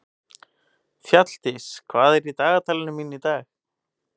Fjalldís, hvað er í dagatalinu mínu í dag?